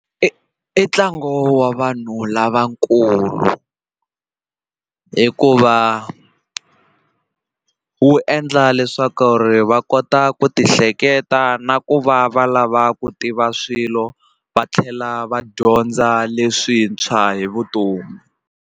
I i ntlangu wa vanhu lavakulu hikuva wu endla leswaku ri va kota ku ti hleketa na ku va va lava ku tiva swilo va tlhela va dyondza leswintshwa hi vutomi.